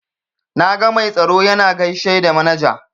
Na ga mai tsaro yana gaishe da manaja.